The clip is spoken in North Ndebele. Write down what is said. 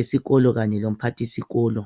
esikolo kanye lomphathisikolo.